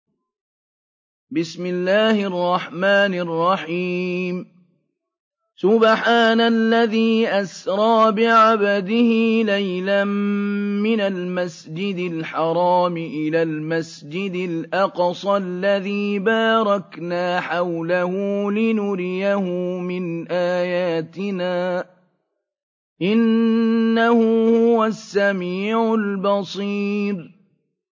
سُبْحَانَ الَّذِي أَسْرَىٰ بِعَبْدِهِ لَيْلًا مِّنَ الْمَسْجِدِ الْحَرَامِ إِلَى الْمَسْجِدِ الْأَقْصَى الَّذِي بَارَكْنَا حَوْلَهُ لِنُرِيَهُ مِنْ آيَاتِنَا ۚ إِنَّهُ هُوَ السَّمِيعُ الْبَصِيرُ